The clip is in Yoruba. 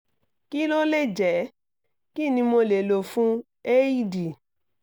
kí ló lè jẹ́? kí ni mo lè fún un? heidi